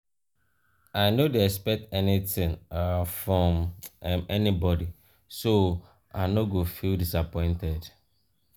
i no dey expect anytin um from um anybody so i no go feel disappointed.